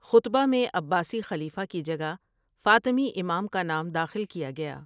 خطبہ میں عباسی خلیفہ کی جگہ فاطمی امام کا نام داخل کیا گیا ۔